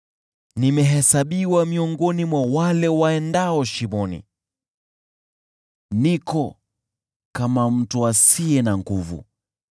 Nimehesabiwa miongoni mwa wale waendao shimoni, niko kama mtu asiye na nguvu.